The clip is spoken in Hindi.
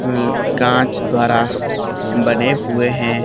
कांच द्वारा बने हुए हैं।